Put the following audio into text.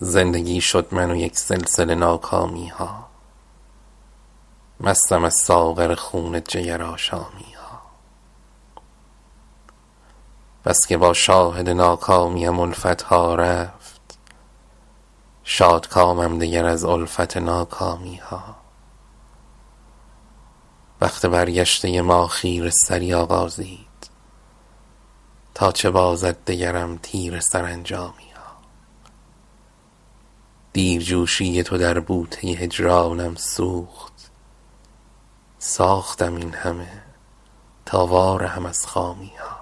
زندگی شد من و یک سلسله ناکامی ها مستم از ساغر خون جگر آشامی ها بسکه با شاهد ناکامیم الفت ها رفت شادکامم دگر از الفت ناکامی ها بخت برگشته ما خیره سری آغازید تا چه بازد دگرم تیره سرانجامی ها دیرجوشی تو در بوته هجرانم سوخت ساختم این همه تا وارهم از خامی ها